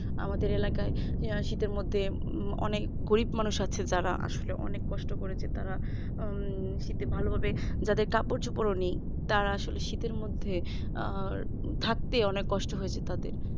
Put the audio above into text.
আমাদের এলাকায় শীতের মধ্যে অনেক গরিব মানুষ আছে যারা আসলে অনেক কষ্ট করেছে তারা আহ শীতে ভালোভাবে তাদের কাপড়-চোপড় নেই তারা আসলে শীতের মধ্যে আহ থাকতে অনেক কষ্ট হয়েছে তাদের